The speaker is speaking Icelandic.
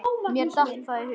Mér datt það í hug!